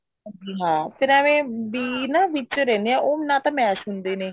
ਵੀ ਹਾਂ ਫ਼ੇਰ ਐਵੇਂ ਬੀਜ ਨਾ ਵਿੱਚ ਰਹਿੰਦੇ ਨੇ ਉਹ ਨਾ ਤਾਂ ਵਿੱਚ mash ਹੁੰਦੇ ਨੇ